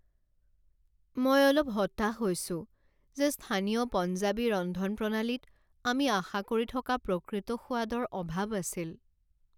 মই অলপ হতাশ হৈছো যে স্থানীয় পঞ্জাবী ৰন্ধনপ্ৰণালীত আমি আশা কৰি থকা প্ৰকৃত সোৱাদৰ অভাৱ আছিল।